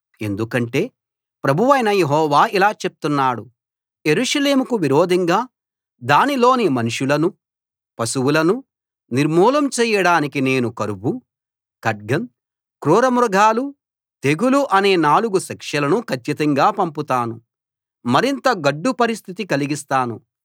ఎందుకంటే ప్రభువైన యెహోవా ఇలా చెప్తున్నాడు యెరూషలేముకు విరోధంగా దానిలోని మనుషులనూ పశువులనూ నిర్మూలం చేయడానికి నేను కరువు ఖడ్గం క్రూర మృగాలు తెగులు అనే నాలుగు శిక్షలను కచ్చితంగా పంపుతాను మరింత గడ్డు పరిస్థితి కలిగిస్తాను